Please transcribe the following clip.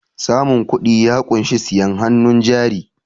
samun kudi ya kunshi siyen hannun jari